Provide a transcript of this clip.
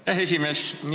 Aitäh, esimees!